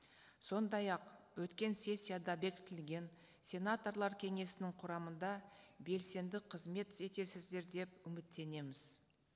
сондай ақ өткен сессияда бекітілген сенаторлар кеңесінің құрамында белсенді қызмет етесіздер деп үміттенеміз